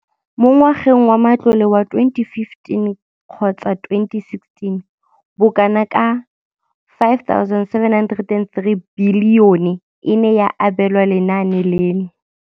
Mo ngwageng wa matlole wa 2015,16, bokanaka R5 703 bilione e ne ya abelwa lenaane leno.